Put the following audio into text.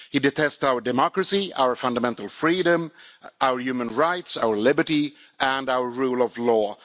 He detests our democracy, our fundamental freedom, our human rights, our liberty and our rule of law.